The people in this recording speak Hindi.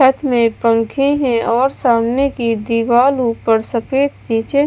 छत में पंखे हैं और सामने की दीवाल ऊपर सफेद नीचे--